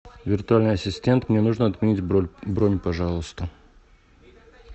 виртуальный ассистент мне нужно отменить бронь пожалуйста